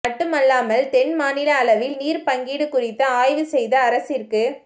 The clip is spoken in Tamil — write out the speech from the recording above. மட்டுமல்லாமல் தென்மாநில அளவில் நீர் பங்கீடு குறித்து ஆய்வு செய்து அரசிற்கு